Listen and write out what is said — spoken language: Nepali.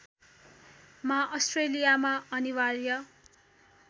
मा अस्ट्रेलियामा अनिवार्य